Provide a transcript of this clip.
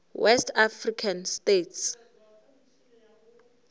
west african states